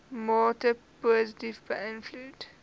mate positief beïnvloed